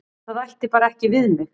Það ætti bara ekki við mig.